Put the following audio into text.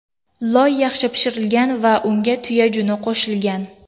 Loy yaxshi pishitilgan va unga tuya juni qo‘shilgan.